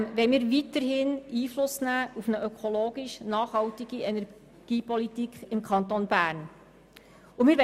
Zudem wollen wir weiterhin Einfluss auf eine ökologisch nachhaltige Energiepolitik im Kanton Bern nehmen können.